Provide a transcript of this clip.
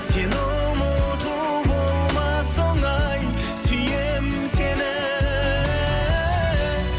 сені ұмыту болмас оңай сүйемін сені